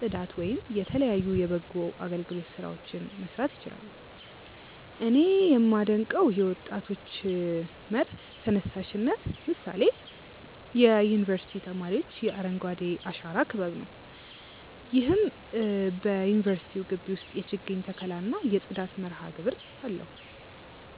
ፅዳት ወይም የተለያዩ የበጎ አገልግሎት ስራዎችን መስራት ይችላሉ። እኔ ያመደንቀው የወጣቶች መር ተነሳሽነት ምሳሌ የዩኒቨርስቲ ተማሪዎች የአረንጓዴ አሻራ ክበብ ነው። ይህም በዩኒቨርስቲው ግቢ ውስጥ የችግኝ ተከላ እና የጽዳት መርሃግብር አለው።